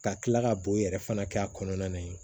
Ka kila ka boyɛrɛ fana kɛ a kɔnɔna na